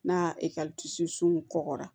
N'a ekɔliso sun kɔgɔra